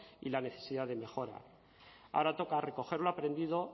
y la necesidad de mejora ahora toca recoger lo aprendido